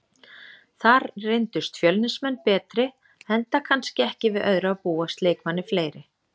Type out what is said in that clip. Þar reyndust Fjölnismenn betri enda kannski ekki við öðru að búast, leikmanni fleiri.